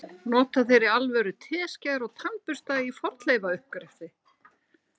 Nota þeir í alvöru teskeiðar og tannbursta í fornleifauppgreftri?